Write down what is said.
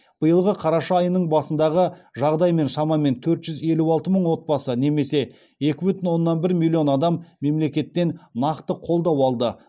биылғы қараша айының басындағы жағдаймен шамамен төрт жүз елу алты мың отбасы немесе екі бүтін оннан бір миллион адам мемлекеттен нақты қолдау алды